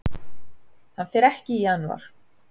Hann fer ekki í janúar.